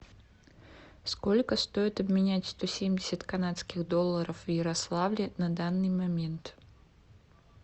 сколько стоит обменять сто семьдесят канадских долларов в ярославле на данный момент